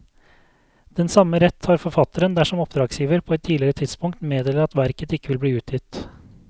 Den samme rett har forfatteren dersom oppdragsgiver på et tidligere tidspunkt meddeler at verket ikke vil bli utgitt.